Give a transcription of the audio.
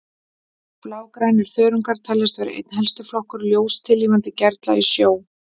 Blágrænir þörungar teljast vera einn helsti flokkur ljóstillífandi gerla í sjó.